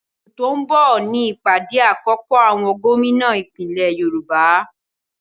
Oṣù tó ń bọ̀ ní ìpàdé àkọ́kọ́ àwọn Gómìnà ìpínlẹ̀ Yorùbá